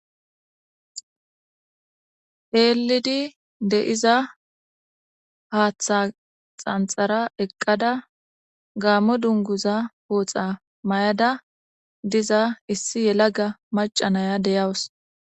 Heelidi de'iza haaththa xanxara eqqada gaammo dunguza pooxa may'ada diza issi yelaga macanaya deyawus.